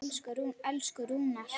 Elsku Rúnar.